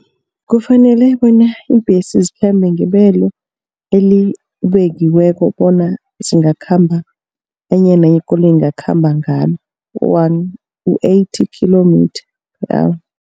Kufanele bona iimbhesi zikhambe ngebelo elibekiweko bona zingakhamba. Enye nenye ikoloyi ingakhamba ngalo u-eighty kilometre per hour.